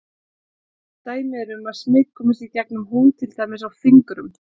Dæmi eru um að smit komist í gegnum húð til dæmis á fingrum.